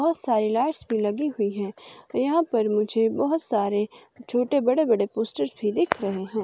बहुत सारी लाइट्स भी लगी हुई हैं यहां पर मुझे बहुत सारे छोटे बड़े बड़े पोस्टर्स भी दिख रहे हैं।